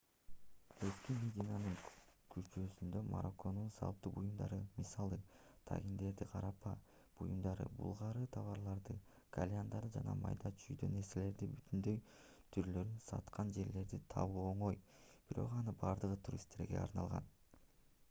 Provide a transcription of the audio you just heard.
эски мединанын курчоосунда марокконун салтуу буюмдарын мисалы тагиндерди карапа буюмдарды булгаары товарларды кальяндарды жана майда-чүйдө нерселердин бүтүндөй түрлөрүн саткан жерлерди табуу оңой бирок анын бардыгы туристтерге арналган